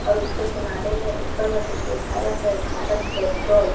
और उसके किनारे में ऊपर में कुछ लिखाया है भारत पेट्रोल --